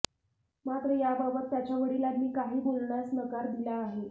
मात्र याबाबत त्याच्या वडिलांनी काही बोलण्यास नकार दिला आहे